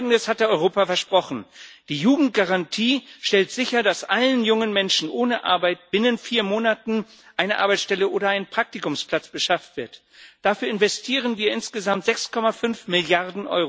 Folgendes hatte Europa versprochen Die Jugendgarantie stellt sicher, dass allen jungen Menschen ohne Arbeit binnen vier Monaten eine Arbeitsstelle oder ein Praktikumsplatz beschafft wird. Dafür investieren wir insgesamt 6,5 Mrd.